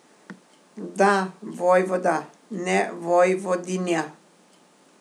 Da, vojvoda, ne vojvodinja.